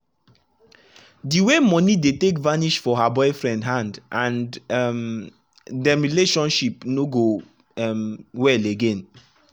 d way moni dey take vanish for her boyfriend hand and um dem relationship no go um well again